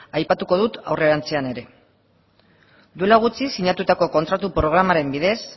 aipatuko dut aurrerantzean ere duela gutxi sinatutako kontratu programaren bidez